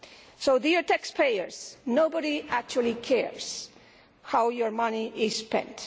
So, dear taxpayers, nobody actually cares how your money is spent.